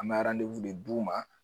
An bɛ de d'u ma